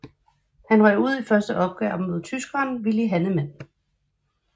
Han røg han ud i første opgør mod tyskeren Willy Hannemann